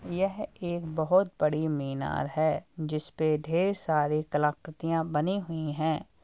यह एक बोहोत बड़ी मीनार है जिसपे ढ़ेर सारी कलाकृतियाँ बनी हुई हैं।